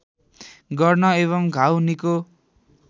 गर्न एवं घाउ निको